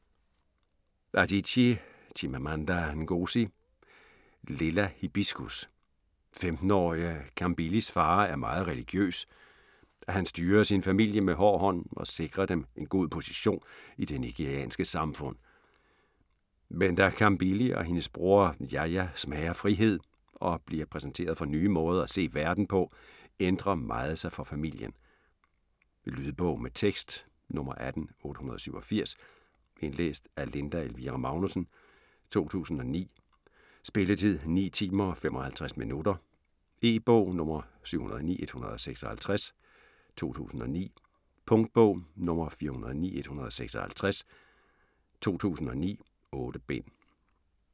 Adichie, Chimamanda Ngozi: Lilla hibiscus 15-årige Kambilis far er meget religiøs. Han styrer sin familie med hård hånd og sikrer dem en god position i det nigerianske samfund. Men da Kambili og hendes bror Jaja smager frihed og bliver præsenteret for nye måder at se verden på, ændrer meget sig for familien. Lydbog med tekst 18887 Indlæst af Linda Elvira Magnussen, 2009. Spilletid: 9 timer, 55 minutter. E-bog 709156 2009. Punktbog 409156 2009. 8 bind.